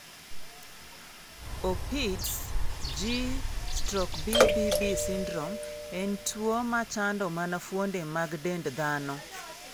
Opitz G/BBB syndrome en tuwo ma chando mana fuonde mag dend dhano.